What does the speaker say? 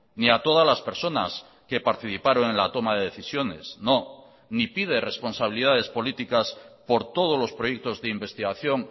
ni a todas las personas que participaron en la toma de decisiones no ni pide responsabilidades políticas por todos los proyectos de investigación